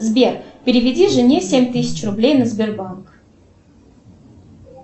сбер переведи жене семь тысяч рублей на сбербанк